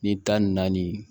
Ni tan ni naani